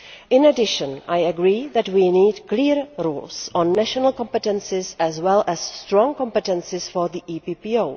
In addition, I agree that we need clear rules on national competences as well as strong competences for the EPPO.